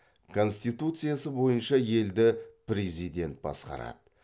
конституциясы бойынша елді президент басқарады